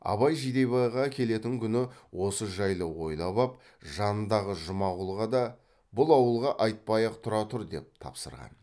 абай жидебайға келетін күні осы жайлы ойлап ап жанындағы жұмағұлға да бұл ауылға айтпай ақ тұра тұр деп тапсырған